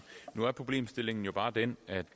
nu er problemstillingen bare den at